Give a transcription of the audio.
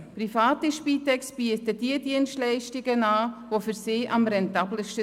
Private Spitex-Organisationen bieten diejenigen Dienstleistungen an, die für sie am rentabelsten sind.